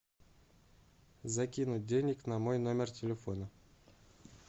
закинуть денег на мой номер телефона